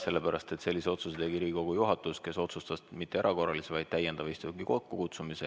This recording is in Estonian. Sellepärast, et sellise otsuse tegi Riigikogu juhatus, kes otsustas mitte erakorralise, vaid täiendava istungi kokkukutsumise.